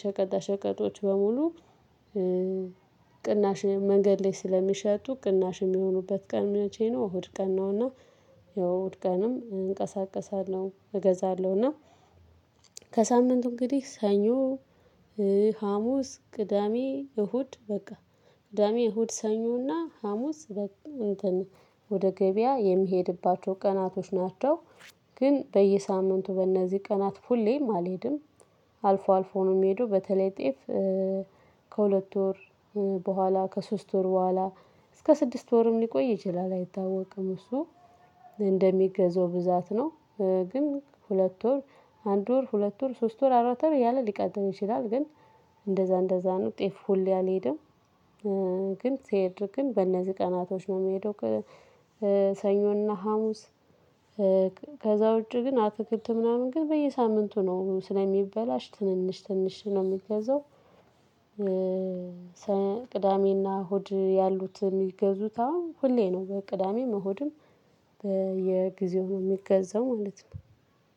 ሸቀጣ ሸቀጦች በሙሉ። ቅናሽ መንገድ ላይ ስለሚሸጡ ቅናሽ የሚሆኑበት ቀን መቼ? ነው እሁድ ቀን ነው። እና ያው እሁድ ቀንም እንቀሳቀሳለሁ እገዛለሁ። እና ከሳምንቱ እንግዲህ ሰኞ ሀሙስ ቅዳሜ እሁድ በቃ ቅዳሜ እሁድ ሰኞና ሀሙስ በቃ እንትን ወደ ገበያ የሚሄድባቸው ቀናቶች ናቸው። ግን በየሳምንቱ በእነዚህ ቀናት ሁሌም አልሄድም። አልፎ አልፎ ነው የምሄደው በተለይ ጤፍ። ከሁለት ወር በኋላ ከሶስት ወር በኋላ እስከ ስድስት ወርም ሊቆይ ይችላል አይታወቅም እሱ እንደሚገዛው ብዛት ነው። ግን ሁለት ወር አንድ ወር ሁለት ወር ሶስት ወር አራት ወር እያለ ሊቀጥል ይችላል ግን እንደዛ እንደዛ ነው ጤፍ ሁሌ አልሄደም። ግን ስሄድ ግን በእነዚህ ቀናቶች ነው የምሄደው። ሰኞና ሀሙስ። ከዛ ውጪ ግን አትክልት ምናምን ግን በየሳምንቱ ነው ስለሚበላሽ ትንሽ ትንሽ ነው የምገዛው። ቅዳሜና እሁድ ያሉት የሚገዙት አሁን ሁሌ ነው በቅዳሜም እሁድም በየጊዜው ነው የሚገዛው ማለት ነው።